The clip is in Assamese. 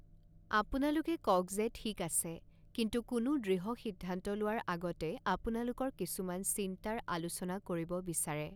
আপোনালোকে কওক যে ঠিক আছে, কিন্তু কোনো দৃঢ় সিদ্ধান্ত লোৱাৰ আগতে আপোনালোকৰ কিছুমান চিন্তাৰ আলোচনা কৰিব বিচাৰে।